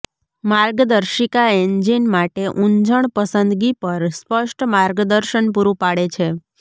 માર્ગદર્શિકા એન્જિન માટે ઊંજણ પસંદગી પર સ્પષ્ટ માર્ગદર્શન પૂરું પાડે છે